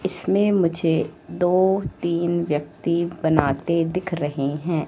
इसमें मुझे दो तीन व्यक्ती बनाते दिख रहे हैं।